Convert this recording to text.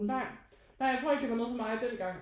Nej nej jeg tror ikke det var noget for mig dengang